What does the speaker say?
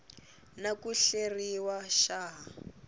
na ku hleriwa xa ha